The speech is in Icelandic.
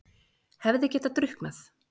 Hefði getað drukknað.